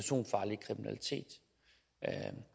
herre